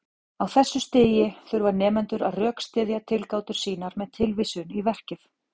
Á þessu stigi þurfa nemendur að rökstyðja tilgátur sínar með tilvísun í verkið.